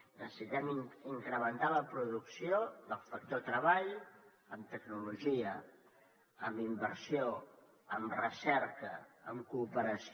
necessitem incrementar la producció del factor treball amb tecnologia amb inversió amb recerca amb cooperació